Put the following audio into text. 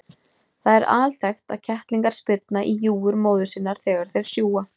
Það er alþekkt að kettlingar spyrna í júgur móður sinnar þegar þeir sjúga.